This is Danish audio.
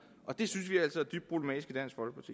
og det synes vi altså